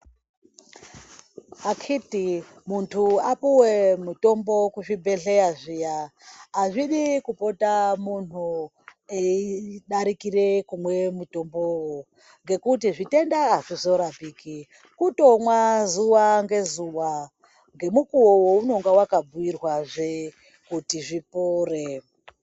Akiti muntu apuwe mutombo kuzvibhedhleya zviya, azvidi kupota munhu eyi darikire kumwe mutombowo ngekuti zvitenda azvizorapiki. Kutomwa zuwa ngezuwa ngemukuwo waunonga waka bhuyirwa zve kuti zvipore.